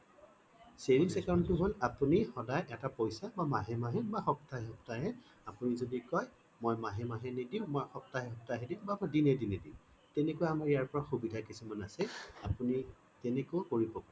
savings account টো হল আপুনি সদায় এটা পইছা বা মাহে মাহে বা সপ্তাহে সপ্তাহে আপুনি যদি কয় মই মাহে মাহে নিদিওঁ সপ্তাহে সপ্তাহে দিম বা দিনে দিনে দিম তেনেকুৱা আমি ইয়াৰ পৰা সুবিধা কিছুমান আছে আপুনি তেনেকেও কৰিব পাৰে